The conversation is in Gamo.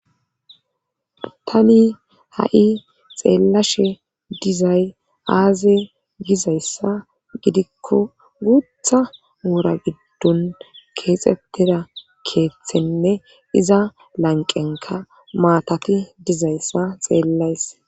Tani ha7i xeellashe dizay aaze gizayssa gidikko guutha woora giddon keexxettera keeththenne iza lanqenka maatati dizayssa xeellays.